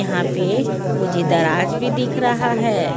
यहां पर मुझे दराज भी दिख रहा है।